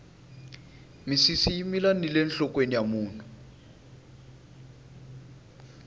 misisi yi mila nile nhlokweni ya munhu